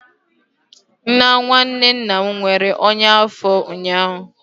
Nwa nwanne nna m nwere ọnya afo ụnyaahụ